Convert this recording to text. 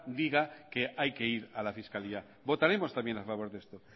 diga que hay que ir a la fiscalía votaremos también a favor de esto